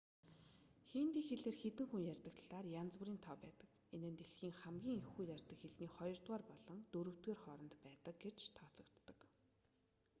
хинди хэлээр хэдэн хүн ярьдаг талаар янз бүрийн тоо байдаг энэ нь дэлхийн хамгийн их хүн ярьдаг хэлний хоёрдугаар болон дөрөвдүгээр хооронд байдаг гэж тооцогддог